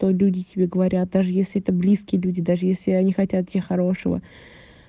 то люди тебе говорят даже если это близкие люди даже если они хотят тебе хорошего